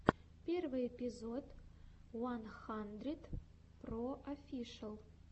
первый эпизод уан хандридпроофишиал